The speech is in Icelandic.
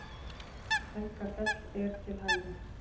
Helgafell er til hægri.